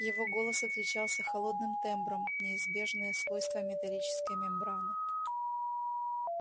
его голос отличался холодным тембром неизбежное свойство металлической мембраны